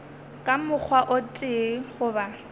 ka mokgwa o tee goba